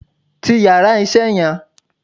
Ti yàrá isé yan